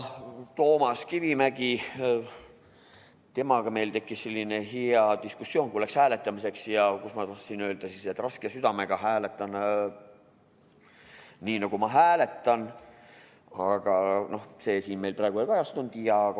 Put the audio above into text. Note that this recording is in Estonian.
Toomas Kivimägiga tekkis meil selline hea diskussioon, kui läks hääletamiseks, kus ma tahtsin öelda, et raske südamega hääletan nii, nagu ma hääletan, aga no see siin meil praegu ei kajastu.